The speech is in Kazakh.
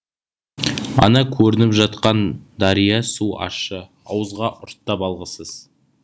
ана көрініп жатқан дария суы ащы ауызға ұрттап алғысыз